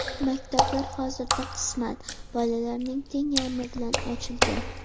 Maktablar hozirda qisman, bolalarning teng yarmi bilan ochilgan.